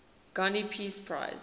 gandhi peace prize